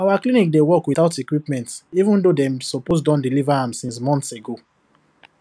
our clinic dey work without equipment even though dem suppose don deliver am since months ago